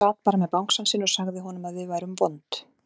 Hún sat bara með bangsann sinn og sagði honum að við værum vond.